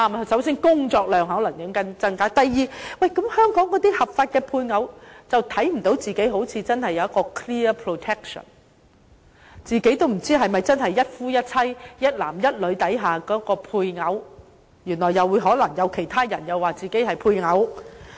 首先工作量可能增加；第二，香港的合法配偶似乎看不到自己有 clear protection， 自己也不知道是否真的是一夫一妻、一男一女制度下的配偶，可能其他人會說自己是配偶。